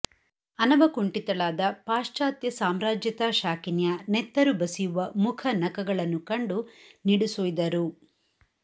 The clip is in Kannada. ಅನವಕುಂಠಿತಳಾದ ಪಾಶ್ಚಾತ್ಯ ಸಾಮ್ರಾಜ್ಯತಾ ಶಾಕಿನಿಯ ನೆತ್ತರು ಬಸಿಯುವ ಮುಖನಖಗಳನ್ನು ಕಂಡು ನಿಡುಸುಯ್ದರು